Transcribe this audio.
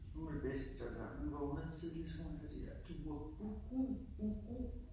Gul vest det her. Vi vågnede tidligt så kunne man høre de der duer uh uh uh uh